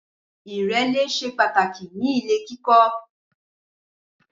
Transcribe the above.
Ìrẹ́lé ṣe pàtàkì ní ilè kíkọ